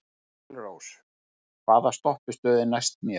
Engilrós, hvaða stoppistöð er næst mér?